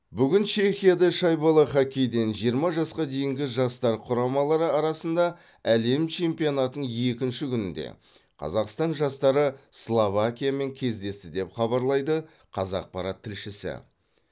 бүгін чехияда шайбалы хоккейден жиырма жасқа дейінгі жастар құрамалары арасында әлем чемпионатының екінші күнінде қазақстан жастары словакиямен кездесті деп хабарлайды қазақпарат тілшісі